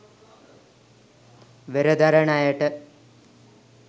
වෙර දරන අයට